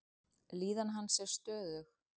Líðan hans er stöðug.